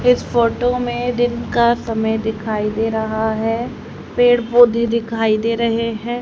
इस फोटो में दिन का समय दिखाई दे रहा है पेड़ पौधे दिखाई दे रहे हैं।